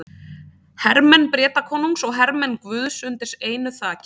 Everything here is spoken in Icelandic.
Hermenn Bretakonungs og hermenn guðs undir einu þaki.